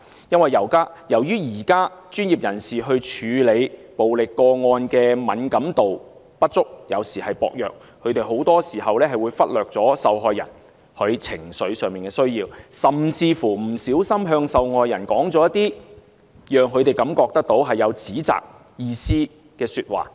由於現時專業人士處理暴力個案的敏感度不足或薄弱，他們很多時會忽略受害人情緒上的需要，甚至不小心向受害人說出一些令她們感到受指責的說話。